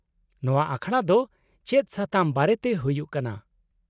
-ᱱᱚᱶᱟ ᱟᱠᱷᱲᱟ ᱫᱚ ᱪᱮᱫ ᱥᱟᱛᱟᱢ ᱵᱟᱨᱮᱛᱮ ᱦᱩᱭᱩᱜ ᱠᱟᱱᱟ ?